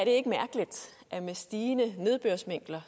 ikke mærkeligt at med stigende nedbørsmængder